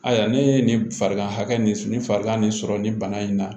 Ayiwa ne ye nin farigan hakɛ nin s nin farigan nin sɔrɔ nin bana in na